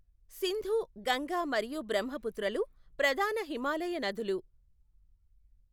సింధు, గంగా మరియు బ్రహ్మపుత్రలు ప్రధాన హిమాలయ నదులు.